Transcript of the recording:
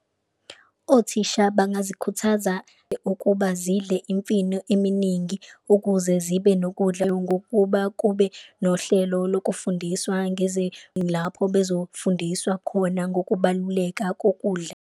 Othisha bangazikhuthaza ukuba zidle imfino eminingi ukuze zibe nokudla ngokuba kube nohlelo lokufundiswa , lapho bezofundiswa khona ngokubaluleka kokudla.